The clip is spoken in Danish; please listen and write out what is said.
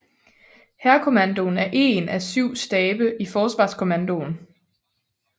Hærkommandoen er én af syv stabe i Forsvarskommandoen